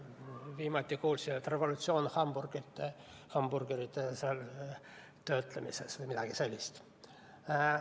Viimati kuulsin, et revolutsioon on hamburgerite töötlemisel või midagi sellist.